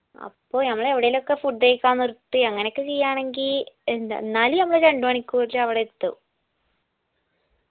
അപ്പൊ ഞമ്മള് എവിടേലൊക്കെ food കയ്ക്കാൻ നിർത്തി അങ്ങനൊക്കെ ചെയ്യണെങ്കി എന്ത എന്നാലും ഞമ്മള് രണ്ട് മണിക്കൂർൽ അവിടെ എത്തും